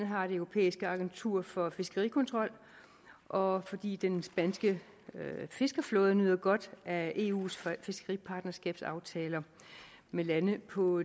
har det europæiske agentur for fiskerikontrol og fordi den spanske fiskerflåde nyder godt af eus fiskeripartnerskabsaftaler med lande på